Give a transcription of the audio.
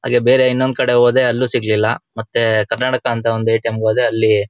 ಹಾಗೆ ಬೇರೆ ಇನ್ನೊಂದು ಕಡೆ ಹೋದೆ ಅಲ್ಲೂ ಸಿಗ್ಲಿಲ್ಲ ಮತ್ತೆ ಕರ್ನಾಟಕ ಅಂತ ಒಂದು ಎ_ಟಿ_ಎಮ್ ಗೆ ಹೋದೆ ಅಲ್ಲಿ --